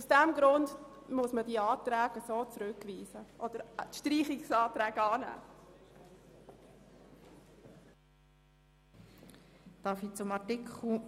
Aus diesem Grund müssen diese Anträge zurückgewiesen beziehungsweise der Streichungsantrag angenommen werden.